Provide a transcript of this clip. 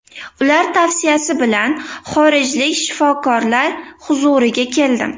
Ular tavsiyasi bilan xorijlik shifokorlar huzuriga keldim.